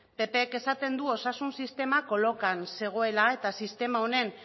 ppk esaten du osasun sistema kolokan zegoela eta sistema honen